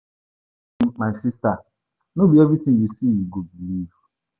um My sister no be everything you see you go believe